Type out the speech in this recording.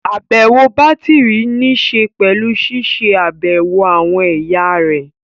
Àbẹ̀wò bátìrì níṣe pẹ̀lú ṣiṣẹ́ àbẹ̀wò àwọn ẹ̀yà rẹ̀